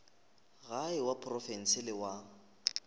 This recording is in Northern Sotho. gae wa profense le wa